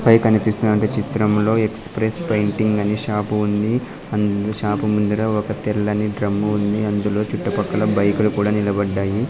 పై కనిపిస్తునట్టు వంటి చిత్రంలో ఎక్సప్రెస్ పెయింటింగ్ అనే షాపు ఉంది అందు షాపు ముందర ఒక తెల్లని డ్రము ఉంది అందులో చుట్టుపక్కల బైకులు కూడా నిలబడ్డాయి.